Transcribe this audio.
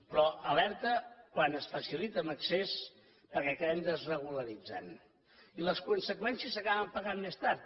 però alerta quan es facilita en excés perquè acabem desregularitzant les conseqüències s’acaben pagant més tard